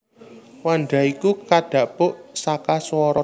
Wanda iku kadhapuk saka swara